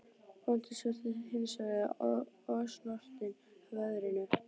Bóndinn virtist hins vegar ósnortinn af veðrinu.